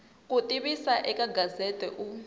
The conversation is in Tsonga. ku tivisa eka gazette u